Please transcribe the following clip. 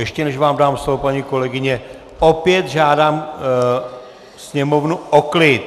Ještě než vám dám slovo, paní kolegyně, opět žádám sněmovnu o klid.